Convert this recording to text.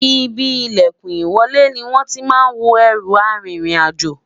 Ìbí ìlèkùn ìwọlé ni wón tí má n wò erú àrin rìn àjọ